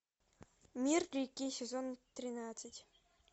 мир реки сезон тринадцать